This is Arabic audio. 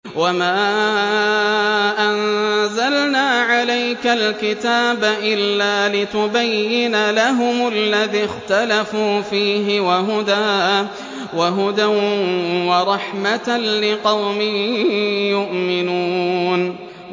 وَمَا أَنزَلْنَا عَلَيْكَ الْكِتَابَ إِلَّا لِتُبَيِّنَ لَهُمُ الَّذِي اخْتَلَفُوا فِيهِ ۙ وَهُدًى وَرَحْمَةً لِّقَوْمٍ يُؤْمِنُونَ